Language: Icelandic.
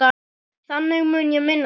Þannig mun ég minnast þín.